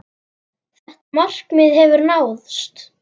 Þetta markmið hefur náðst.